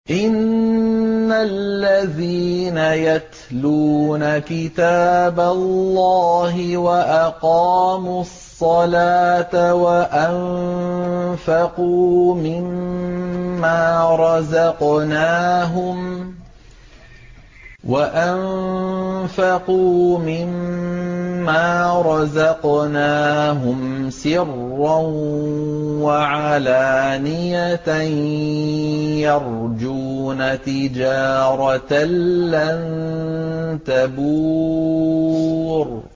إِنَّ الَّذِينَ يَتْلُونَ كِتَابَ اللَّهِ وَأَقَامُوا الصَّلَاةَ وَأَنفَقُوا مِمَّا رَزَقْنَاهُمْ سِرًّا وَعَلَانِيَةً يَرْجُونَ تِجَارَةً لَّن تَبُورَ